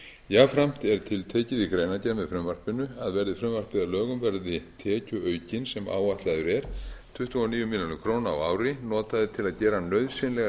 jafnframt er tiltekið í greinargerð með frumvarpinu að verði frumvarpið að lögum verði tekjuaukinn sem áætlaður er tuttugu og níu milljónir króna ári notaður til að gera nauðsynlegar